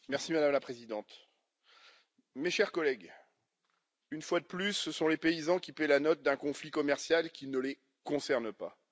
Madame la Présidente, chers collègues, une fois de plus, ce sont les paysans qui paient la note d'un conflit commercial qui ne les concerne pas.